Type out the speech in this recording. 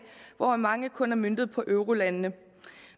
hvoraf mange kun er møntet på eurolandene